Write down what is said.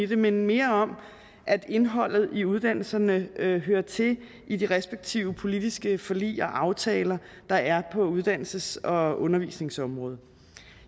det men mere om at indholdet i uddannelserne hører hører til i de respektive politiske forlig og aftaler der er på uddannelses og undervisningsområdet